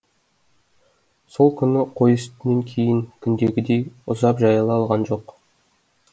сол күні қой түстен кейін күндегідей ұзап жайыла алған жоқ